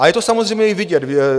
A je to samozřejmě i vidět.